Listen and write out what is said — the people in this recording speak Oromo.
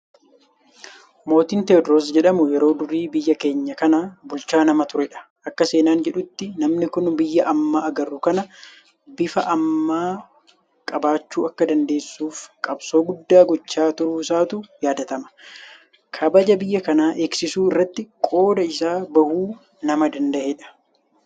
Mootiin Teediroos jedhamu yeroo durii biyya keenya kana bulchaa nama turedha. Akka seenaan jedhutti namni kun biyya amma agarru kana bifa ammaa qabaachuu akka dandeessuuf qabsoo guddaa gochaa turuusaatu yaadatama. Kabaja biyya kanaa eegsisuu irratti qooda isaa bahachuu nama danda'edha.